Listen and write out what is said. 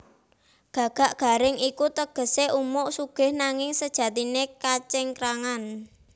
Gagak garing iku tegesé umuk sugih nanging sejatiné kacingkrangan